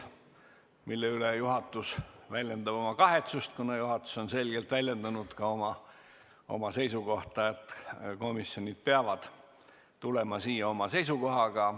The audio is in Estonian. Selle üle väljendab juhatus kahetsust, sest oleme selgelt väljendanud oma seisukohta, et komisjonid peavad tulema siia oma seisukohaga.